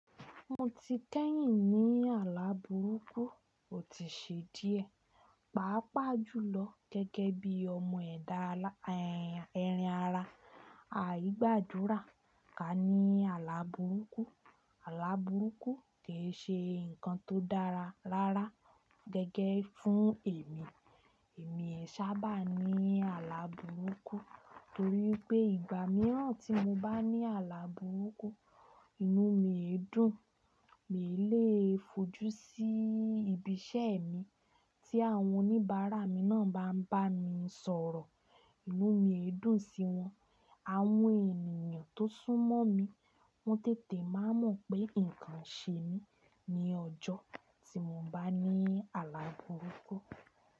Mo ti kẹ́yìn ní àlà burúkú, ò tí ì ṣe díẹ̀. Paapaa jùlọ gẹ́gẹ́ bí ọmọ ẹ̀dà erin ara, àì gbàdúrà ká ní àlà burúkú. Àlà burúkú kì í ṣe ǹkan tó dára rárá gẹ́gẹ́ fún èmi. Èmi ẹ sábà ní àlà burúkú torí pé ìgbà mìíràn tí mo bá ní àlà burúkú, inú mi èdùn, mi ò lè fojú sí ibi iṣẹ́ mi tí àwọn oníbàárà mi náà bá ń bá mi sọ̀rọ̀, inú mi èdùn sí wọn. Àwọn ènìyàn tó sún mọ́ mi, wọ́n tètè máa mọ̀ pé ǹkan ṣe mí ní ọjọ́ tí mo bá ní àlà burúkú.